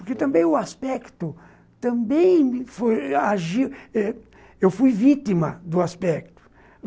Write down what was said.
Porque também o aspecto, também agir, eu fui vítima do aspecto.